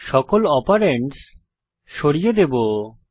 সকল অপারেন্ডস সরিয়ে দেবো